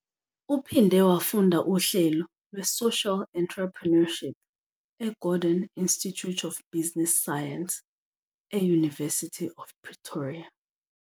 Uphinde wafunda uhlelo lwe-Social Entrepreneurship e-Gordon Institute of Business Science, e-University of Pretoria.